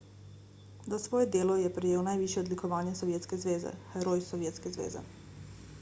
za svoje delo je prejel najvišje odlikovanje sovjetske zveze heroj sovjetske zveze